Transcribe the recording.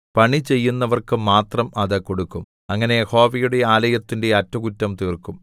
പണിചെയ്യുന്നവർക്കു മാത്രം അത് കൊടുക്കും അങ്ങനെ യഹോവയുടെ ആലയത്തിന്റെ അറ്റകുറ്റം തീർക്കും